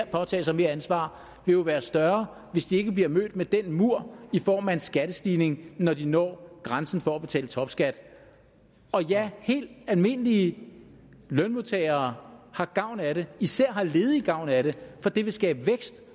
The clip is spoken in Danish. påtage sig mere ansvar vil jo være større hvis de ikke bliver mødt med den mur i form af en skattestigning når de når grænsen for at betale topskat og ja helt almindelige lønmodtagere har gavn af det især har ledige gavn af det for det vil skabe vækst